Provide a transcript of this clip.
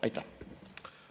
Aitäh!